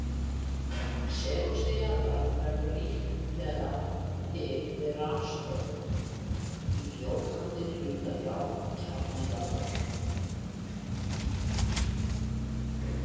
Segulsvið jarðar verður líklega til við rafstrauma í fljótandi hluta járnkjarna jarðar.